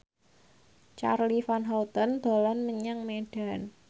Charly Van Houten dolan menyang Medan